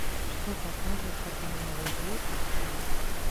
что показывают по каналу е сейчас